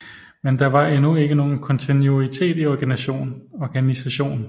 Men der var endnu ikke nogen kontinuitet i organisation